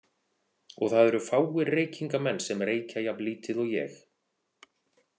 Og það eru fáir reykingamenn sem reykja jafn lítið og ég.